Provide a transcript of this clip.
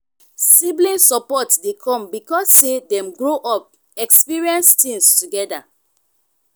sibling support de come because say dem grow up experience things together